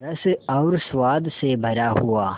रस और स्वाद से भरा हुआ